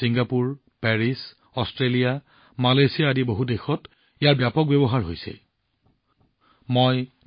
Singapore Paris Australia Malaysia আদি বহু দেশত ইয়াৰ ব্যাপক ব্যৱহাৰ চলি আছে